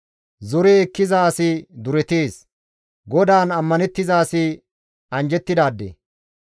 Zore ekkiza asi duretees; GODAAN ammanettiza asi anjjettidaade.